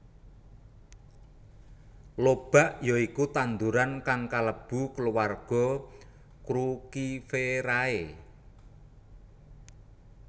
Lobak ya iku tanduran kang kalebu kulawarga Cruciferae